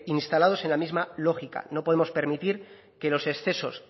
instalados en la misma lógica no podemos permitir que los excesos